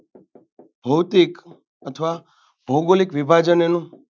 ભૌતિક અથવા ભૌગોલીક વિભાજન એનું.